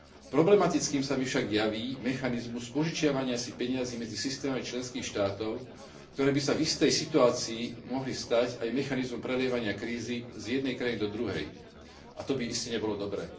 Problematickým sa mi však javí mechanizmus požičiavania si peňazí medzi systémami členských štátov, ktoré by sa v istej situácii mohli stať aj mechanizmom prelievania krízy z jednej krajiny do druhej, a to by iste nebolo dobre.